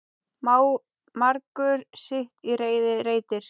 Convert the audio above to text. Margur sitt í reiði reytir.